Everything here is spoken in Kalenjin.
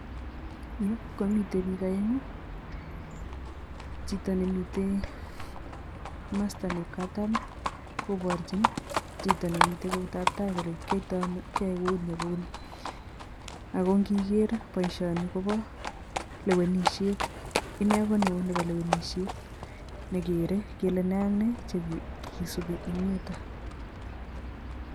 Yu komite biik aeng'u. Chito nemite masta nep katam koporchin chito nemite keutap tai kole kyoitoi ano kiyoe kouni ak kouni ako nkiker boishoni kopo lewenishet, ine ko neo nepo lewenishet nekere kele ne ak ne chekisubi eng yuto.